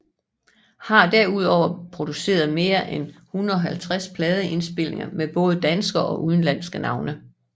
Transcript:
Har derudover produceret mere end 150 pladeindspilninger med både danske og udenlandske navne